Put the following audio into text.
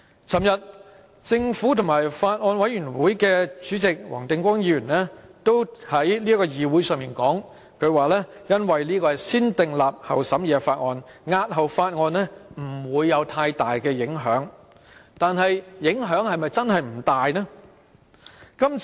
昨天，政府當局和法案委員會主席黃定光議員在議會上說，因為這是一項"先訂立後審議"的法例，將之押後不會有太大影響，但影響真的不大嗎？